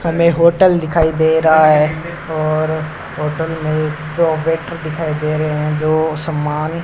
हमें होटल दिखाई दे रहा है और होटल में दो वेटर दिखाई दे रहे हैं जो सम्मान --